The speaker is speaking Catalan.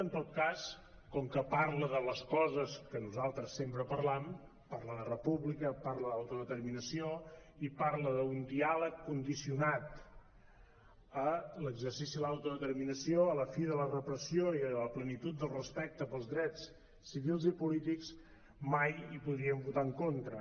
en tot cas com que parla de les coses que nosaltres sempre parlam parla de república parla d’autodeterminació i parla d’un diàleg condicionat a l’exercici de l’autodeterminació a la fi de la repressió i a la plenitud del respecte pels drets civils i polítics mai hi podríem votar en contra